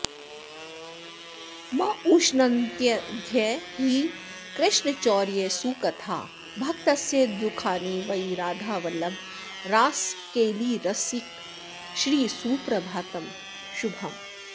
मुष्णन्त्यद्य हि कृष्णचौर्यसुकथाः भक्तस्य दुःखानि वै राधावल्लभ रासकेलिरसिक श्रीसुप्रभातं शुभम्